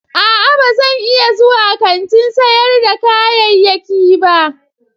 A'a ba zan iya zuwa kantin sayar da kayayyaki ba.